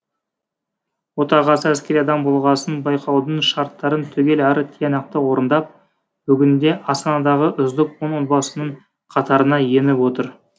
отағасы әскери адам болғасын байқаудың шарттарын түгел әрі тиянақты орындап бүгінде астанадағы үздік он отбасының қатарына еніп отыр